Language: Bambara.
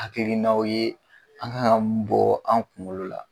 Hakilinaw ye an kan ka m bɔɔ an' kuŋolo la.